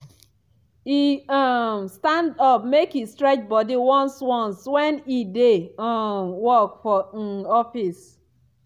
e um dey stand up make e stretch body once once when e dey um work for um office.